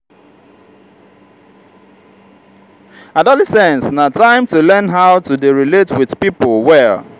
adolescence na time to learn how to dey relate wit pipo well.